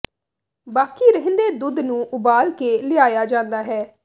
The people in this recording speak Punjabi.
ਬਾਕੀ ਰਹਿੰਦੇ ਦੁੱਧ ਨੂੰ ਉਬਾਲ ਕੇ ਲਿਆਇਆ ਜਾਂਦਾ ਹੈ